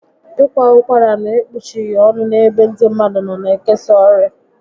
Ị kwa ụkwara n'ekpuchighi ọnụ n'ebe ndị mmadụ nọ ga ekesa ọrịa